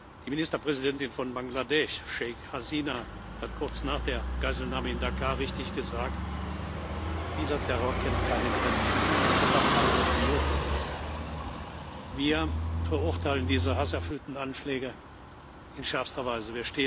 Die Ministerpräsidentin von Bangladesch, Sheikh Hasina Wajed, hat kurz nach der Geiselnahme in Dhaka richtig gesagt Dieser Terror kennt keine Grenzen, und er kennt auch keine Religion. Wir verurteilen diese hasserfüllten Anschläge in schärfster Weise.